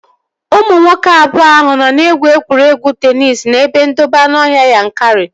Ụmụ nwoke abụọ ahụ nọ na-egwu egwuregwu teenis n'ebe ndobe anụọhịa Yankari